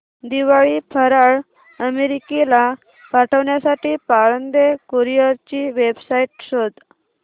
दिवाळी फराळ अमेरिकेला पाठविण्यासाठी पाळंदे कुरिअर ची वेबसाइट शोध